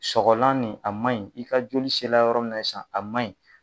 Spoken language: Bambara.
Sɔgɔlan nin a ma ɲi, i ka joli sera yɔrɔ min na sisan a ma ɲin.